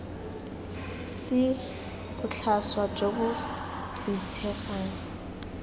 c botlhaswa jo bo boitshegang